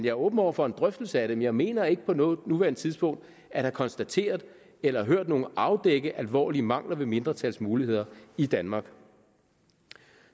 er åben over for en drøftelse af det men jeg mener ikke på nuværende tidspunkt at have konstateret eller hørt nogen afdække alvorlige mangler ved mindretals muligheder i danmark